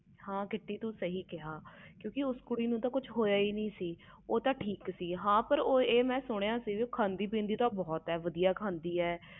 ਹਾਂ ਕ੍ਰਿਤੀ ਤੂੰ ਸਹੀ ਕਿਹਾ ਉਸ ਕੁੜੀ ਨੂੰ ਤੇ ਕੁਛ ਨਹੀਂ ਹੋਇਆ ਉਹ ਤੇ ਠੀਕ ਸੀ ਮਗਰ ਮੈਂ ਸੁਣਿਆ ਸੀ ਕਿ ਉਹ ਖਾਦੀ ਪੀਦੀ ਬਹੁਤ ਆ